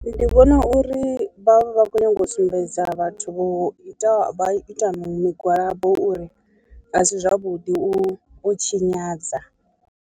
Ndi vhona uri vhavha vha khou nyanga u sumbedza vhathu vho ita ita migwalabo uri a si zwavhuḓi u u tshinyadza.